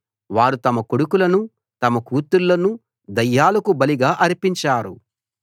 వారు తమ కొడుకులను తమ కూతుళ్ళను దయ్యాలకు బలిగా అర్పించారు